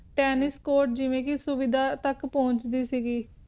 tennis court ਦੀ ਸੁਵਿਧਾ ਤਕ ਪੁਹੰਚ ਸੀ ਦੀ